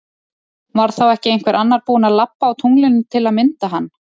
Var þá ekki einhver annar búin að labba á tunglinu til að mynda hann?